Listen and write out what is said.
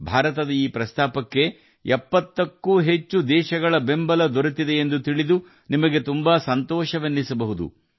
ಭಾರತದ ಈ ಪ್ರಸ್ತಾಪವನ್ನು 70 ಕ್ಕೂ ಹೆಚ್ಚು ದೇಶಗಳು ಒಪ್ಪಿಕೊಂಡಿವೆ ಎಂದು ತಿಳಿದರೆ ನಿಮಗೆ ತುಂಬಾ ಸಂತೋಷವಾಗ ಬಹುದು